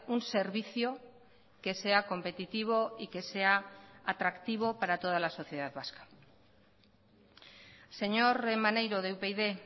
un servicio que sea competitivo y que sea atractivo para toda la sociedad vasca señor maneiro de upyd